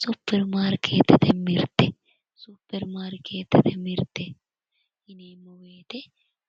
Supperimaarkeettete mirte. Supperimaarkeettete mirte yineemmo woyite